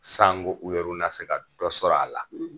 Sango u yeru na se ka dɔ sɔrɔ a la.